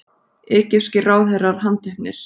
Egypskir ráðherrar handteknir